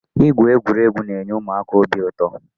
Ịgwụ egwuregwu na-enye ụmụaka obi ụtọ.